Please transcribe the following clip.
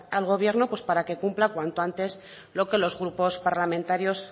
al gobierno pues para que cumpla cuanto antes lo que los grupos parlamentarios